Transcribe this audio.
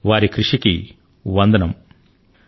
వారి కృషికి నేను నమస్కరిస్తున్నాను